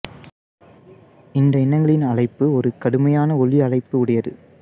இந்த இனங்களின் அழைப்பு ஒரு கடுமையான ஒலி அலைப்பு உடையது